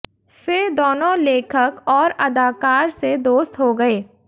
फिर दोनों लेखक और अदाकार से दोस्त हो गए